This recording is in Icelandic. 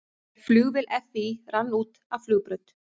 Flugvél FÍ rann út af flugbraut